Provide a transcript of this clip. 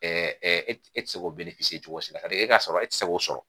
e ti se k'o cogo si e ka sɔrɔ e tɛ se k'o sɔrɔ